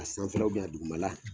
A sanfɛla a dugumala